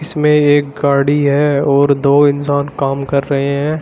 इसमें एक गाड़ी है और दो इंसान काम कर रहे हैं।